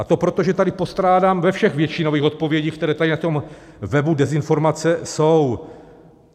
A to protože tady postrádám ve všech většinových odpovědích, které tady na tom webu "dezinformace" jsou.